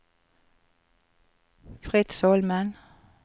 Fritz Holmen